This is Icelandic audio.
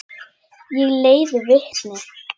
Ég leiði vitni.